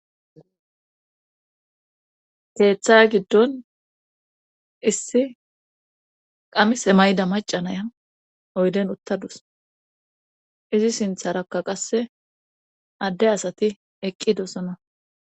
keeththa giddon issi qamise mayda macanaya oyden uttadus izi sintharakka qasse adde asati eqqidosana